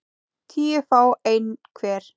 tíu fái einn hver